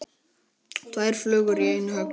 Tvær flugur í einu höggi.